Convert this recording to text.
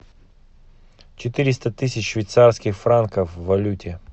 четыреста тысяч швейцарских франков в валюте